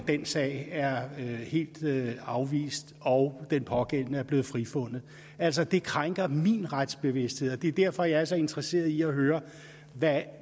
den sag er helt afvist og den pågældende er blevet frifundet altså det krænker min retsbevidsthed og det er derfor jeg er så interesseret i at høre hvad